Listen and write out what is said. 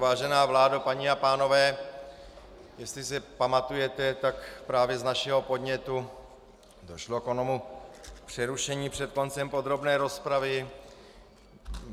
Vážená vládo, paní a pánové, jestli se pamatujete, tak právě z našeho podnětu došlo k onomu přerušení před koncem podrobné rozpravy.